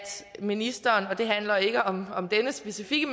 ministeren og det handler ikke om denne specifikke